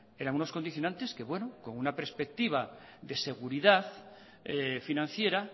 eran unos condicionantes que bueno con una perspectiva de seguridad financiera